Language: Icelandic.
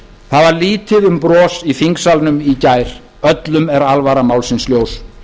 það var lítið um bros í þingsalnum í gær öllum er alvara málsins ljós